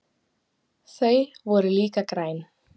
Þau voru líka græn.